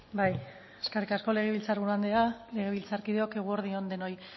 bai eskerrik asko legebiltzar buru andrea legebiltzarkideok eguerdi on denoi